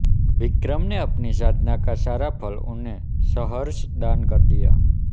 विक्रम ने अपनी साधना का सारा फल उन्हें सहर्ष दान कर दिया